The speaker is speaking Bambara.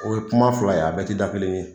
O ye kuma fila ye a bɛɛ tɛ da kelen ye.